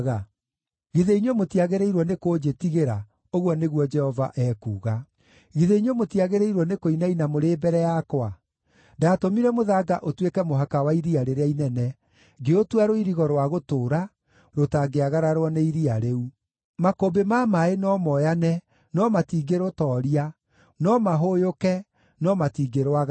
Githĩ inyuĩ mũtiagĩrĩirwo nĩkũnjĩtigĩra?” ũguo nĩguo Jehova ekuuga. “Githĩ inyuĩ mũtiagĩrĩirwo nĩkũinaina mũrĩ mbere yakwa? Ndaatũmire mũthanga ũtuĩke mũhaka wa iria rĩrĩa inene, ngĩũtua rũirigo rwa gũtũũra, rũtangĩagararwo nĩ iria rĩu. Makũmbĩ ma maaĩ no moyane, no matingĩrũtooria, no mahũyũke, no matingĩrwagarara.